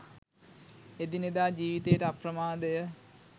එදිනෙදා ජීවිතයට අප්‍රමාදය